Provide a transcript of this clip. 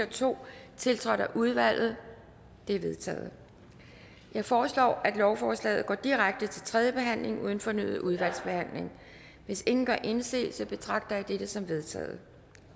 og to tiltrådt af udvalget de er vedtaget jeg foreslår at lovforslaget går direkte til tredje behandling uden fornyet udvalgsbehandling hvis ingen gør indsigelse betragter jeg dette som vedtaget